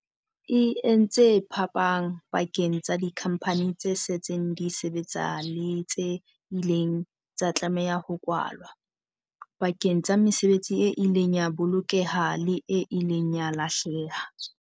E entse phapang pakeng tsa dikhampani tse setseng di sebetsa le tse ileng tsa tlameha ho kwalwa, pakeng tsa mesebetsi e ileng ya bolokeha le e ileng ya lahleha.